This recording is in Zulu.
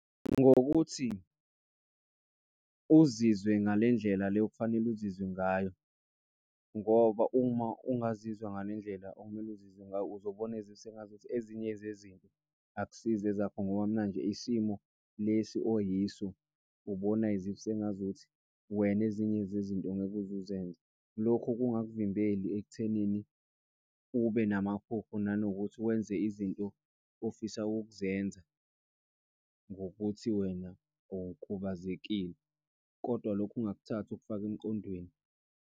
Ngokuthi uzizwe ngale ndlela le okufanele uzizwe ngayo ngoba uma ungazizwa ngale ndlela okumele uzizwe ngayo uzobona sengazuthi ezinye zezinto akusizo ezakho ngoba manje isimo lesi oyiso, ubona as if sengazuthi wena, ezinye zezinto ngeke uze uzenze. Lokho kungakuvimbeli ekuthenini ube namaphupho nanokuthi wenze izinto ofisa ukuzenza ngokuthi wena ukhubazekile. Kodwa, lokhu ungakuthathi okufake emqondweni.